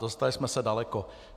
Dostali jsme se daleko.